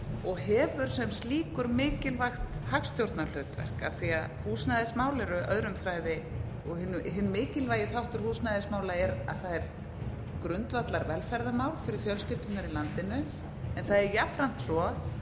og hefur sem slíkur mikilvægt hagstjórnarhlutverk af því að húsnæðismál eru öðrum þræði og hinn mikilvægi þáttur húsnæðismála er að það er grundvallarvelferðarmál fyrir fjölskyldurnar í landinu en það er jafnframt svo